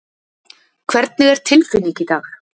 Hvernig er tilfinning í dag?